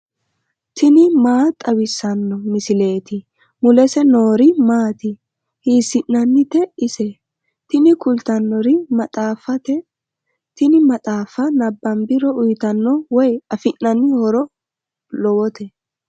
tini maa xawissanno misileeti ? mulese noori maati ? hiissinannite ise ? tini kultannori maxaaffate, tini maxaaffa nabbambiro uyiitanno woy afi'nanni horo lowote.